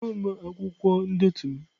Mba, ahụghị m akwụkwọ ndetu m.